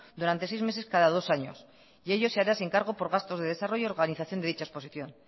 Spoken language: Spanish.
durante seis meses cada dos años y ello se hará sin cargo por gastos de desarrollo organización de dicha exposición